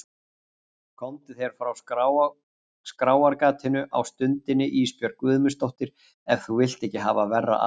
Komdu þér frá skráargatinu á stundinni Ísbjörg Guðmundsdóttir ef þú vilt ekki hafa verra af.